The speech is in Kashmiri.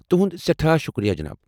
تُہُنٛد سٮ۪ٹھاہ شُکریہ ، جناب۔